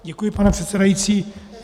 Děkuji, pane předsedající.